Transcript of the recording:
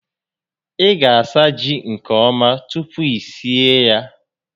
Ị ga asa ji nke ọma tupu i sie ya